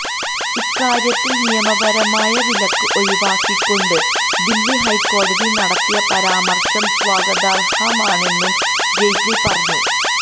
ഇക്കാര്യത്തില് നിയമപരമായ വിലക്ക് ഒഴിവാക്കിക്കൊണ്ട് ദില്ലി ഹൈക്കോടതി നടത്തിയ പരാമര്ശം സ്വാഗതാര്ഹമാണെന്നും ജെയ്റ്റ്ലി പറഞ്ഞു